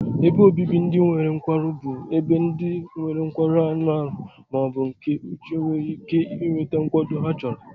Ebe obibi ndị nwere nkwarụ bụ ebe ndị nwere nkwarụ anụ ahụ ma ọ bụ nke uche nwere ike nweta nkwado ha chọrọ.